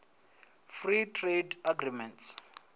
free trade agreements